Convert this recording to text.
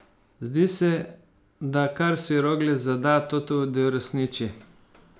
Zdi se, da kar si Roglič zada, to tudi uresniči.